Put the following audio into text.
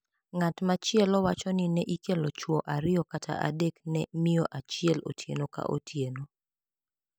Ng`at machielo wacho ni ne ikelo chwo ariyo kata adek ne miyo achiel otieno ka otieno.